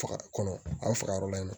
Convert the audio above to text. Faga kɔnɔ a bɛ faga yɔrɔ la yen nɔ